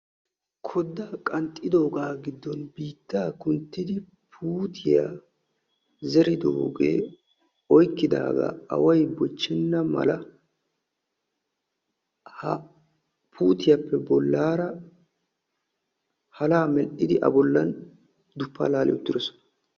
Koddaa qanxxidoogaa giddon biittaa qanxxidi puutiyaa zeridogee oykkidagaa away bochchena mala ha puutiyaappe bolaara halaa medhdhidi a bollan duppaa laali uttidosona.